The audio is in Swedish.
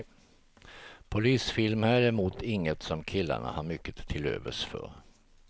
Polisfilmer är däremot inget som killarna har mycket till övers för.